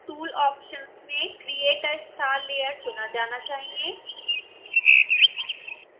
tool options में create a star layer चुना जाना चाहिए